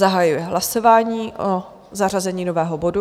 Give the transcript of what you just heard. Zahajuji hlasování o zařazení nového bodu.